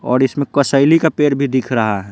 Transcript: और इसमें कसैली का पेड़ भी दिख रहा है।